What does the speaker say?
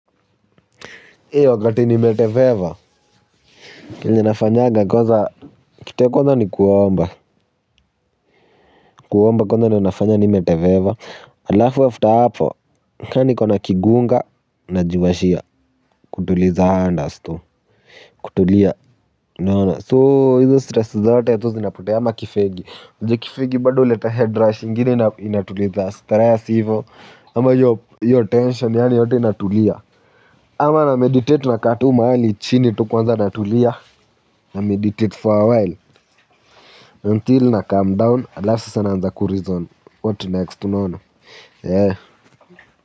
A wakati nimeteveva kenye nafanyaga kwaza kitu ya kwanza ni kuomba kuomba kwanza ndo nafanya nimeteveva alafu wafta hapo kaa niko na kigunga najiwashia kutuliza andas tu kutulia naona soo hizo stress zote zo zinapotea ama kifegi ujua kifegi bado uleta head rush ingini inatuliza stress hivo ama yo yo tension yani yote inatulia ama na meditate nakaa tu mahali chini tu kwanza natulia. Na meditate for a while, until na calm down, atlasa sasa naanza kurizon, what next unaona, yee.